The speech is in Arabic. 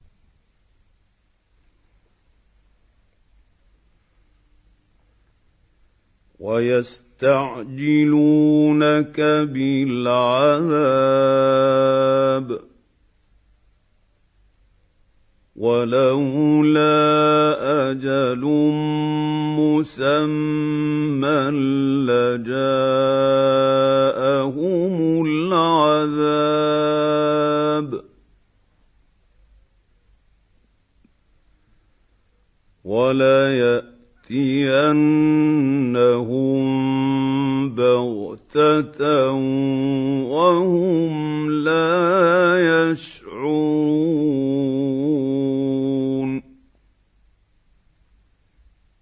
وَيَسْتَعْجِلُونَكَ بِالْعَذَابِ ۚ وَلَوْلَا أَجَلٌ مُّسَمًّى لَّجَاءَهُمُ الْعَذَابُ وَلَيَأْتِيَنَّهُم بَغْتَةً وَهُمْ لَا يَشْعُرُونَ